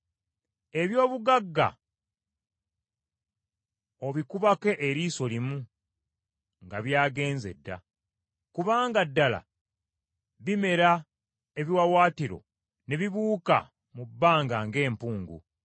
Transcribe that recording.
Eby’obugagga obikubako eriiso limu nga by’agenze dda, kubanga ddala bimera ebiwaawaatiro ne bibuuka mu bbanga ng’empungu.